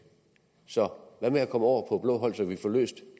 så hvad med at komme over på blåt hold så vi kan få løst